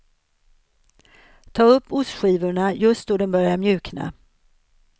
Ta upp ostskivorna just då de börjar mjukna.